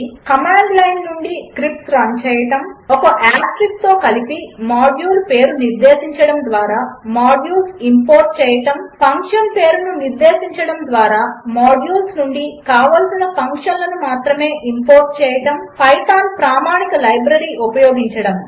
command లైన్నుండి scripts run చేయడము ఒక ఆస్టెరిస్క్ తో కలిపి మాడ్యూల్ పేరు నిర్దేశించడము ద్వారా మాడ్యూల్స్ ఇంపోర్ట్ చేయడము ఫంక్షన్ పేరు నిర్దేశించడము ద్వారా మాడ్యూల్స్ నుండి కావలసిన ఫంక్షన్లు మాత్రమే ఇంపోర్ట్ చేయడము పైథాన్ ప్రామాణిక లైబ్రరీ ఉపయోగించడము